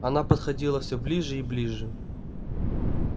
она подходила все ближе и ближе